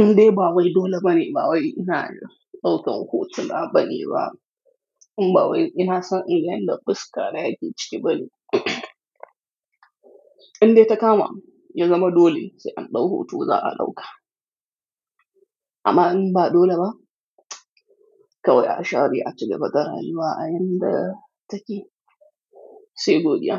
Indai ba wai dole bane ba wai ina ɗaukan hotuna bane ba. In ba wai ina son inga yanda fuska yake cike bane. Indai ta kama ya zama dole sai an ɗau hoto za a ɗauka. Amma in ba dole ba, kawai a share a cigaba da rayuwa a yanda take. Sai godiya.